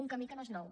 un camí que no és nou